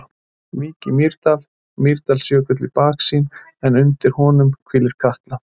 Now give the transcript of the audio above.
Vík í Mýrdal, Mýrdalsjökull í baksýn en undir honum hvílir Katla.